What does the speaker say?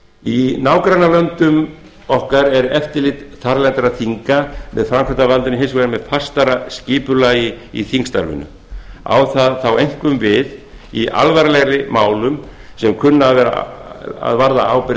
í nágrannalöndum okkar er eftirlit þarlendra þinga með framkvæmdarvaldinu hins vegar með fastara skipulagi í þingstarfinu á það þá einkum við í alvarlegri málum sem kunna að varða ábyrgð